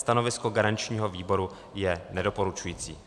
Stanovisko garančního výboru je nedoporučující.